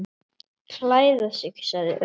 Klæða sig sagði Örn.